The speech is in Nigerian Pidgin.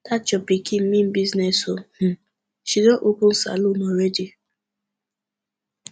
dat your pikin mean business ooo um she don open salon already